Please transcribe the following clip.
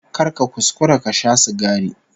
Kar ka kuskura ka sha sigari